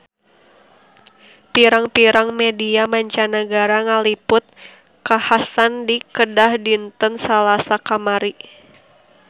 Pirang-pirang media mancanagara ngaliput kakhasan di Kedah dinten Salasa kamari